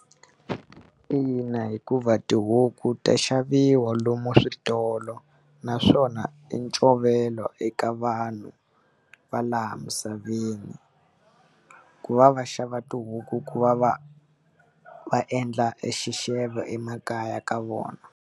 Ina, hikuva tihuku to xavisiwa lomu switolo naswona i ncovela eka vanhu va laha misaveni. Ku va va xava tihuku ku va va va endla exixevo emakaya ka vona.